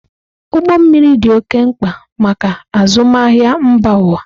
Ụgbọ mmiri dị oké mkpa maka azụmahịa mba ụwa.